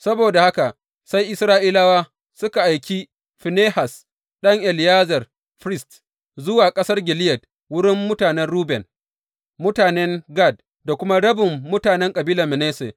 Saboda haka sai Isra’ilawa suka aiki Finehas ɗan Eleyazar, firist, zuwa ƙasar Gileyad, wurin mutanen Ruben, mutanen Gad da kuma rabin mutanen kabilar Manasse.